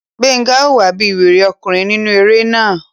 Gbénga hùwà bí wèrè ọkùnrin nínú eré náà